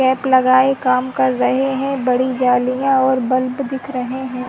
Cap लगाए काम कर रहे हैं बड़ी जालियां और बल्ब दिख रहे हैं।